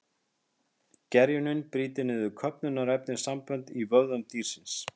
Gerjunin brýtur niður köfnunarefnissambönd í vöðvum dýrsins.